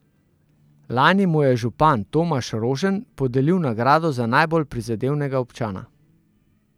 Lani mu je župan Tomaž Rožen podelil nagrado za najbolj prizadevnega občana.